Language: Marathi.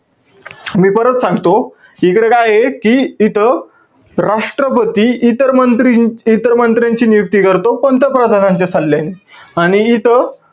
मी परत सांगतो. इकडे काये कि इथं, राष्ट्रपती इतर मंत्री~ इतर मंत्र्यांची नियुक्ती करतो, पंतप्रधानांच्या सल्ल्याने. आणि इथं,